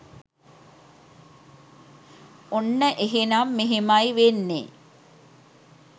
ඔන්න එහෙනම් මෙහෙමයි වෙන්නේ